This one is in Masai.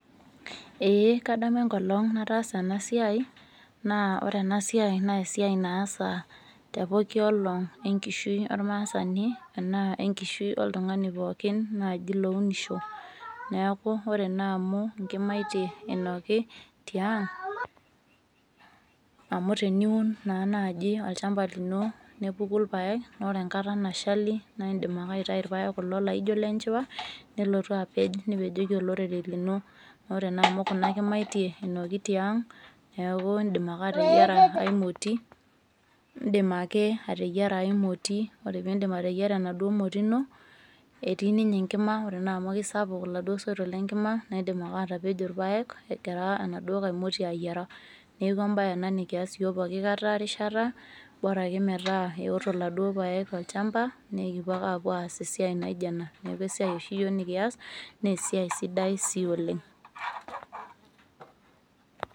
ee kadamu enkolong nataasa ena siai, naa ore ena siai naa esiai naasa tepooki olong' enkishui ormaasani, anaa enkishui oltungani pookin lounisho. neeku ore naa amu inkimaitie inoki tiang'amu teniun naa naaji olchampaa lino nepuku irpaek. ore enakta nashali, naa idim ake aitayu irpaek kulo laijo ile njiwa, nilotu apej, nipejoki olorere lino. ore naa amu kuna kimaitie einoki tiang'.neeku idim ake ateyiara enkae moti. idim ake, ateiara ae moti. ore pee iidip ateyiara ena moti no.etii ninye enkima, ore naa amu isapuk iladuoo soito lina kima, naa idim ake, atepej irpaek egira enaduo nkae moti ayiara. neeku ebae ena nikias isyiook pooki rishata, bora ake metaa eoto iladuoo paek te mukunta, naa ekipuo ake aas esiai naijo ena. neeku esiai oshi iyiook nikias, naa esiia sidai sii oleng.